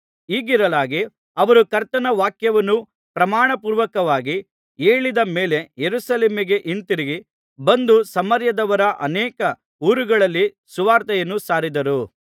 ಹೀಗಿರಲಾಗಿ ಅವರು ಕರ್ತನ ವಾಕ್ಯವನ್ನು ಪ್ರಮಾಣಪೂರ್ವಕವಾಗಿ ಹೇಳಿದ ಮೇಲೆ ಯೆರೂಸಲೇಮಿಗೆ ಹಿಂತಿರುಗಿ ಬಂದು ಸಮಾರ್ಯದವರ ಅನೇಕ ಊರುಗಳಲ್ಲಿ ಸುವಾರ್ತೆಯನ್ನು ಸಾರಿದರು